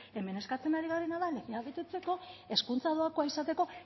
hemen eskatzen ari garena da legea betetzeko hezkuntza doakoa izateko